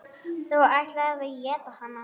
Þú ætlaðir að éta hana.